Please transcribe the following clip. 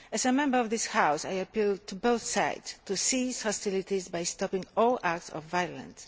As a Member of this House, I appeal to both sides to cease hostilities by stopping all acts of violence.